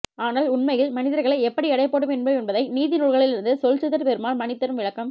ஆனால் உண்மையில் மனிதர்களை எப்படி எடைபோட வேண்டும் என்ப்தை நீதி நூல்களில் இருந்து சொல்சித்தர் பெருமாள் மணி தரும் விளக்கம்